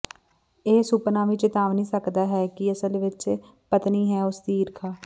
ਇਹ ਸੁਪਨਾ ਵੀ ਚੇਤਾਵਨੀ ਸਕਦਾ ਹੈ ਕਿ ਅਸਲ ਵਿਚ ਪਤਨੀ ਹੈ ਉਸ ਦੀ ਈਰਖਾ